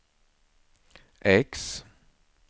X